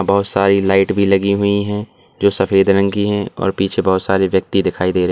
बहुत सारी लाइट भी लगी हुई हैं जो सफेद रंग की हैं और पीछे बहुत सारे व्यक्ति दिखाई दे रहे--